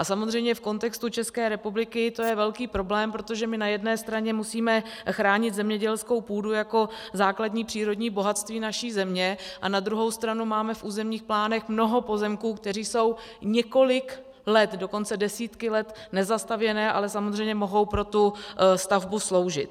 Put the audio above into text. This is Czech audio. A samozřejmě v kontextu České republiky to je velký problém, protože my na jedné straně musíme chránit zemědělskou půdu jako základní přírodní bohatství naší země a na druhou stranu máme v územních plánech mnoho pozemků, které jsou několik let, dokonce desítky let nezastavěné, ale samozřejmě mohou pro tu stavbu sloužit.